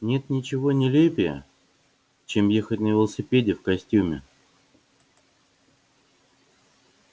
нет ничего нелепее чем ехать на велосипеде в костюме